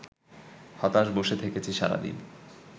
হতাশ বসে থেকেছি সারাদিন